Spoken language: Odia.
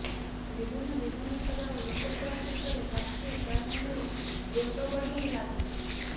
ବିଭିନ୍ନ ବିଧାନସଭା ଓ ଲୋକସଭା କ୍ଷେତ୍ରରେ ପ୍ରାର୍ଥୀ ଚୟନ ନେଇ ଦ୍ୱନ୍ଦ ବଢ଼ିବାରେ ଲାଗୁଛି